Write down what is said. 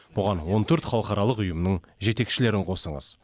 бұған он төрт халықаралық ұйымның жетекшілерін қосыңыз